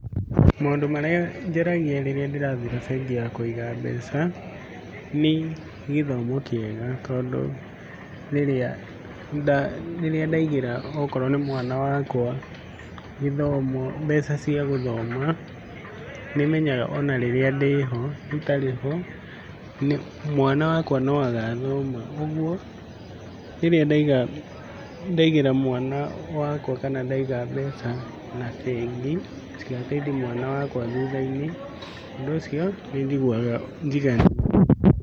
Maũndũ marĩa njaragia rĩrĩa ndĩrathura bengi ya kũiga mbeca nĩ gĩthomo kĩega tondũ rĩrĩa nda rĩrĩa ndaigĩra okorwo nĩ mwana wakwa gĩthomo mbeca cia gũthoma, nĩmenyaga ona rĩrĩa ndĩho itarĩ ho mwana wakwa no agathoma, ũguo rĩrĩa ndaiga ndigĩra mwana wakwa kana ndaiga mbeca na bengi cigateithia mwana wakwa thutha-inĩ, ũndũ ũcio nĩ njiguaga njiganĩire.